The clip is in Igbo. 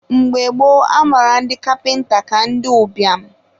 mgbe gboo, a mara ndi kapịnta ka ndị ụbịam